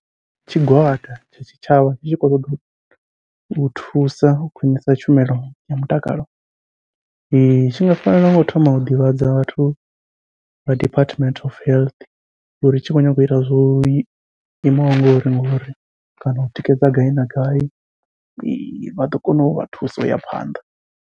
Tshigwada tsha tshitshavha tshi tshi khou ṱoḓa u u thusa u khwiṋisa tshumelo ya mutakalo, tshi nga fanela ngau thoma u ḓivhadza vhathu vha Department of Health uri tshi khou nyanga uita zwo imaho ngori kana u tikedza gai na gai vha ḓo kona uvha thusa uya phanḓa.